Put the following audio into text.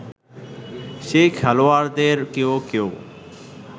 সেই খেলোয়াড়দের কেউ কেউ